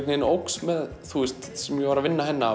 veginn óx með því sem ég var að vinna hérna